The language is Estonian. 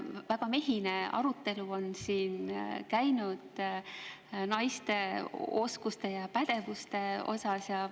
Väga mehine arutelu on siin käinud naiste oskuste ja pädevuste üle.